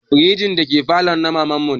Firjin da ke falon na maman mu ne